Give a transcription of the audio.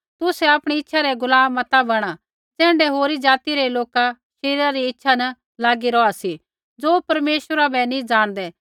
तुसै आपणी इच्छा रै गुलाम मता बणा ज़ैण्ढै होरी ज़ाति रै लोक शरीरा री इच्छा न लागी रौहा सी ज़ो परमेश्वरा बै नी ज़ाणदै